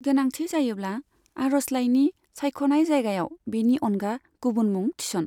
गोनांथि जायोब्ला, आर'जलाइनि सायख'नाय जायगायाव बेनि अनगा गुबुन मुं थिस'न।